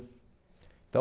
Então,